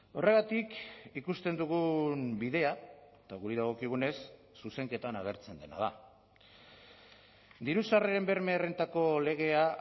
horregatik ikusten dugun bidea eta guri dagokigunez zuzenketan agertzen dena da diru sarreren berme errentako legea